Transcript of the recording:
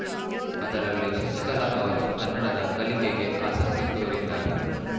ಅದರಲ್ಲಿ ಶಶಿಕಲಾ ಅವರು ಕನ್ನಡದ ಕಲಿಕೆಗೆ ಆಸಕ್ತಿ ತೋರಿದ್ದಾರೆ